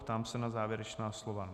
Ptám se na závěrečná slova.